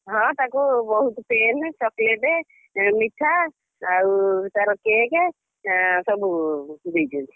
ହଁ ତାକୁ ବହୁତ୍ pen, chocolate ଏ ମିଠା ଆଉ ତାର cake ଆଁ ସବୁ ଦେଇଛନ୍ତି।